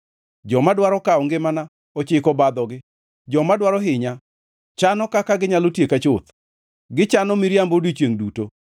Joma dwaro kawo ngimana ochiko obadhogi, joma dwaro hinya chano kaka ginyalo tieka chuth. Gichano miriambo odiechiengʼ duto.